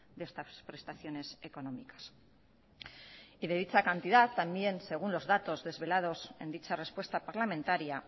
de estas prestaciones económicas y de dicha cantidad también según los datos desvelados en dicha respuesta parlamentaria